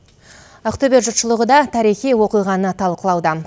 ақтөбе жұртшылығы да тарихи оқиғаны талқылауда